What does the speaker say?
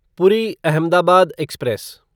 पूरी अहमदाबाद एक्सप्रेस